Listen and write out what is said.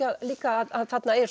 líka að þarna er